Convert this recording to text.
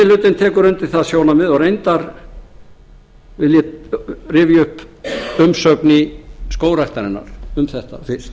hlutinn tekur undir það sjónarmið og reyndar vil ég rifja upp umsögn skógræktarinnar um þetta fyrst